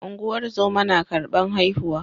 ungozoma na karban haihuwa